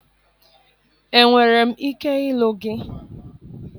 Enwere m ike ịlụ gị?